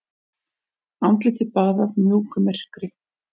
Andlitið baðað mjúku myrkri.